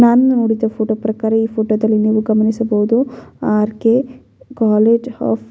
ನಾನು ನೋಡಿದ ಫೋಟೋ ಪ್ರಕಾರ ಈ ಫೋಟೋದಲ್ಲಿ ನೀವು ಗಮನಿಸಬಹುದು ಆರ್.ಕೆ ಕೋಲೆಜ್ ಒಫ್ --